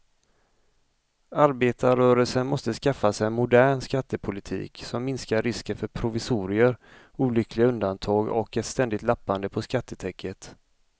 Arbetarrörelsen måste skaffa sig en modern skattepolitik som minskar risken för provisorier, olyckliga undantag och ett ständigt lappande på skattetäcket.